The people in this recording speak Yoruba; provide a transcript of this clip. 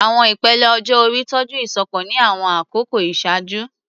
Àwọn ìpele ọjọ́ orí tọ́jú ìṣọ̀kan ní àwọn àkókò ìṣáájú.